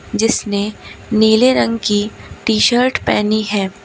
जिसने नीले रंग की टी शर्ट पहनी है।